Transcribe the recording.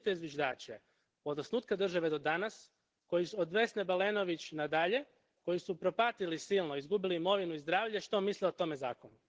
Pitajte zviždače. Od osnutka države do danas, od Vesne Balenović na dalje, koji su propatili silno, izgubili imovinu i zdravlje, što misle o tome zakonu.